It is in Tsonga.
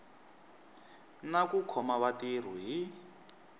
na ku khoma vatirhi hi